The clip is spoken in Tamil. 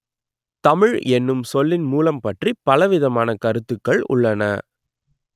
தமிழ் என்னும் சொல்லின் மூலம் பற்றிப் பலவிதமான கருத்துக்கள் உள்ளன